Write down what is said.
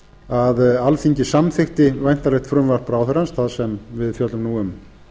að alþingi samþykkti væntanlegt frumvarp ráðherrans það sem við fjöllum nú um